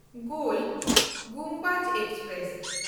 ᱜᱳᱞ Gumbaz express